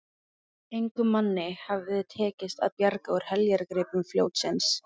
Engum manni hafði tekist að bjarga úr heljargreipum fljótsins.